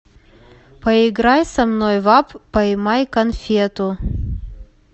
поиграй со мной в апп поймай конфету